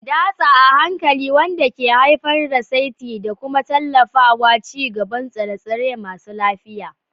datsa a hankali wanda ke haifar da saitin da ke tallafawa ci gaban tsire-tsire masu lafiya.